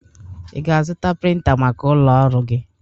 I ga-azụta printa maka ụlọ ọrụ gi?